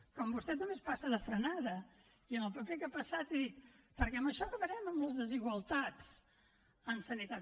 com vostè també es passa de frenada i en el paper que ha passat ha dit perquè amb això acabarem amb les desigualtats en sanitat